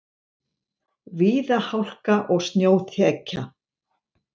Víða hálka og snjóþekja